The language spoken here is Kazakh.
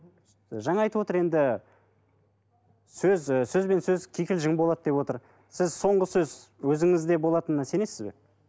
жаңа айтып отыр енді сөз і сөзбен сөз кикілжің болады деп отыр сіз соңғы сөз өзіңізде болатынына сенесіз бе